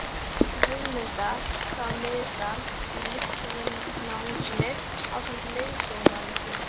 Guðmundar frá Miðdal í Listvinahúsinu ásamt leiðsögumanni sínum.